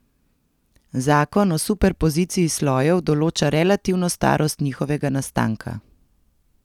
Zakon o superpoziciji slojev določa relativno starost njihovega nastanka.